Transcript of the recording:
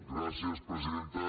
gràcies presidenta